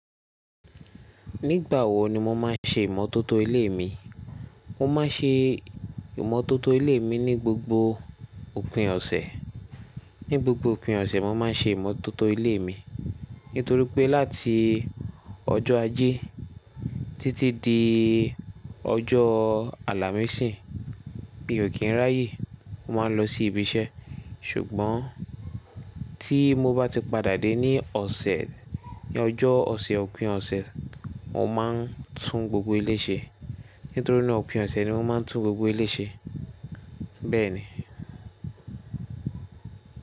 Nígbà wo ni mo máa ṣe ìmọ́tótó ilé mi? Mo máa ṣe ìmọ́tótó ilé mi ní gbogbo òpin ọ̀sẹ̀. Ní gbogbo òpin ọ̀sẹ̀, wọ́n máa ṣe ìmọ́tótó ilé mi. Nítorí pé láti ọjọ́ ajé títí di ọjọ́ àlámísìì mi ò kí ń ráyè. Mo máa ń lọ sí ibi iṣẹ́ ṣùgbọ́n tí mo bá ti padà dé ní ọ̀sẹ̀ ní ọjọ́ ọ̀sẹ̀ òpin ọ̀sẹ̀, mo máa ń tún gbogbo ilé ṣe. Nítorí ni òpin ọ̀sẹ̀ ni wọ́n máa ń tún gbogbo ilé ṣe. Bẹ́ẹ̀ ni.